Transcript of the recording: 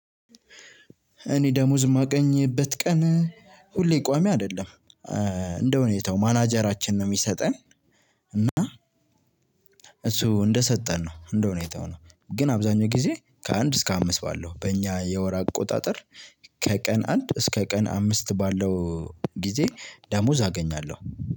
እኔ ደሞዝ የማገኝበት ቀን ሁሌ ቋሚ አይደለም እንደሁኔታው ማናጀራችን ነው የሚሰጠን። እና እሱ እንደሰጠን ነው እንደ ሁኔታው ነው። ግን አብዛኛው ጊዜ ከአንድ እስከ አምስት ባለው በእኛ የወር አቆጣጠር ከቀን አንድ እስከ ቀን አምስት ባለው ጊዜ ደሞዝ አገኛለሁ።